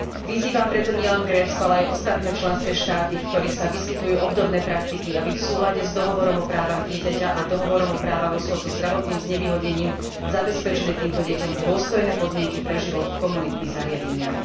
Vyzývam preto nielen Grécko, ale aj ostatné členské štáty, v ktorých sa vyskytujú obdobné praktiky, aby v súlade s Dohovorom o právach dieťaťa a Dohovorom o právach osôb so zdravotným znevýhodnením zabezpečili týmto deťom dôstojné podmienky pre život v komunitných zariadeniach.